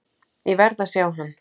Ég verð að sjá hann.